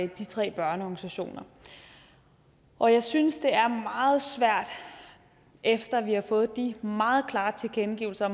de tre børneorganisationer og jeg synes at det er meget svært efter vi har fået de meget klare tilkendegivelser